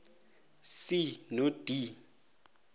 c no d